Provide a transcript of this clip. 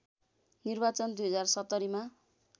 निर्वाचन २०७०मा